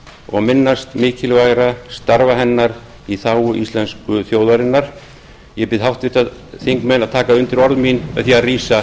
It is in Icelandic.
og minnast mikilvægra starfa hennar í þágu íslensku þjóðarinnar ég bið háttvirta þingmenn að taka undir orð mín með því að rísa